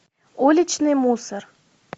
уличный мусор